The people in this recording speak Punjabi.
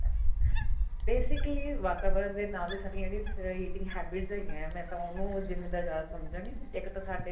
basically ਵਾਤਾਵਰਨ ਦੇ ਨਾਲ ਸਾਡੀਆਂ ਜਿਹੜੀਆਂ eating habits ਹੈਗੀਆਂ ਮੈਂ ਤਾਂ ਉਹਨੂੰ ਜਿੰਮੇਦਾਰ ਜਿਆਦਾ ਸਮਝਾਗੀ ਇੱਕ ਤਾਂ ਸਾਡੇ